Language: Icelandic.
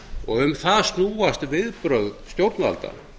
og um það snúast viðbrögð stjórnvalda